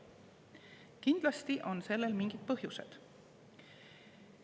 Kindlasti on sellel mingid põhjused.